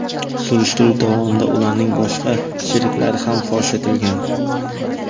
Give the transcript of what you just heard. Surishtiruv davomida ularning boshqa sheriklari ham fosh etilgan.